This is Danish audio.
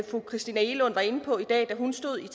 fru christina egelund var inde på i dag da hun stod her